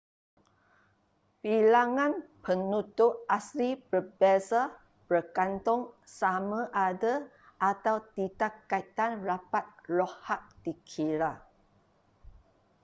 bilangan penutur asli berbeza bergantung sama ada atau tidak kaitan rapat loghat dikira